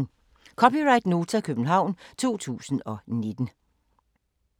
(c) Nota, København 2019